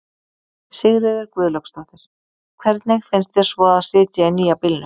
Sigríður Guðlaugsdóttir: Hvernig finnst þér svo að sitja í nýja bílnum?